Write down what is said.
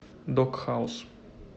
дог хаус